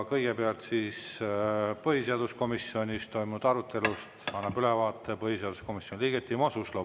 Kõigepealt, põhiseaduskomisjonis toimunud arutelust annab ülevaate põhiseaduskomisjoni liige Timo Suslov.